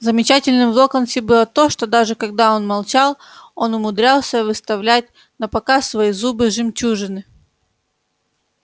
замечательным в локонсе было то что даже когда он молчал он умудрялся выставлять напоказ свои зубы-жемчужины